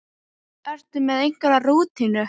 Ertu með einhverja rútínu?